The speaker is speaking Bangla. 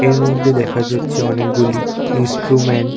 এরমধ্যে দেখা যাচ্ছে অনেক গুলি ইন্সট্রুমেন্ট ।